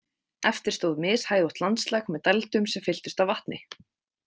Eftir stóð mishæðótt landslag með dældum sem fylltust af vatni.